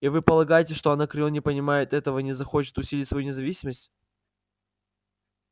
и вы полагаете что анакреон не понимает этого и не захочет усилить свою независимость